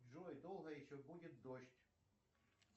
джой долго еще будет дождь